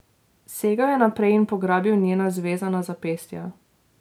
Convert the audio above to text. Segel je naprej in pograbil njena zvezana zapestja.